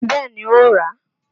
Bẹẹ ni, ó ràá.